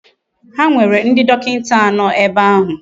Ha nwere ndi dokinta ano ebe ahu.